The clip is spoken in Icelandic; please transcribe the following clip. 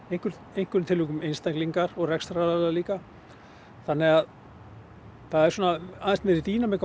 einhverjum einhverjum tilvikum einstaklingar og rekstraraðilar líka þannig það er svona aðeins meiri dýnamík á